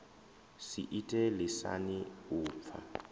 si ite lisani u pfa